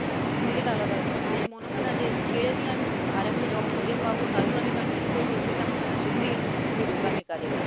সেটা আলাদা ব্যাপার নাহলে মনে হয় না যে ছেড়ে দিয়ে আমি আরেকটা job খুঁজে পাবো তারপর আমি continue করবো এটা মনে হয় না সত্যিই খুবই বোকামির কাজ এটা।